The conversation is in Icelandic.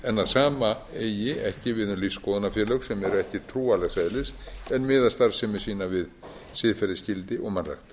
að sama eigi ekki við um lífsskoðunarfélög sem eru ekki trúarlegs eðlis en miða starfsemi sína við siðferðisgildi og mannrækt